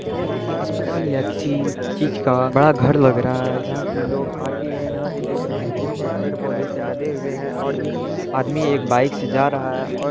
यह किसी अस्पताल या किसी चीज़ का बड़ा घर लग रहा है जहां कि लोग आते है यहाँ से देख रहे है कि पेड़-पौधे से लदे हुए है और ये आदमी एक बाइक से जा रहा है और --